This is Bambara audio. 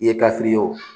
I ye ka fili o